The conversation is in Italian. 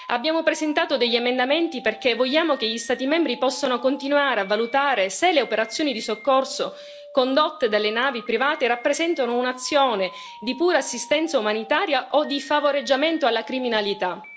Abbiamo presentato degli emendamenti perché vogliamo che gli Stati membri possano continuare a valutare se le operazioni di soccorso condotte dalle navi private rappresentino un'azione di pura assistenza umanitaria o di favoreggiamento alla criminalità.